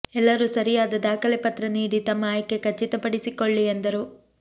ಎಲ್ಲರೂ ಸರಿಯಾದ ದಾಖಲೆ ಪತ್ರ ನೀಡಿ ತಮ್ಮ ಆಯ್ಕೆ ಖಚಿತಪಡಿಸಿಕೊಳ್ಳಿ ಎಂದರು